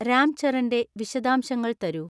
രാംചരന്റെ വിശദാംശങ്ങൾ തരൂ